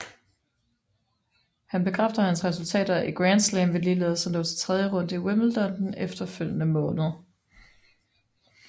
Han bekræfter hans resultater i Grand Slam ved ligeledes at nå til tredje runde i Wimbledon den efterfølgende måned